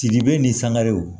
Sidibe ni sangarew